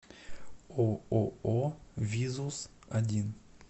ооо визус один